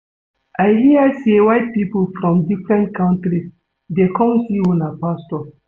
I hear say white people from different countries dey come see una pastor